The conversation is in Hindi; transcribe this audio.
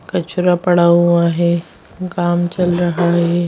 कचड़ा पड़ा हुआ है काम चल रहा है।